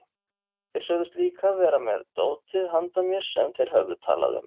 Þeir sögðust líka vera með dótið handa mér sem þeir höfðu talað um.